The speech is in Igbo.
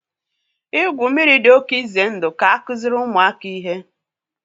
igwu mmiri dị oke ize ndụ ka akụziri ụmụaka ihe